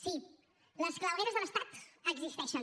sí les clavegueres de l’estat existeixen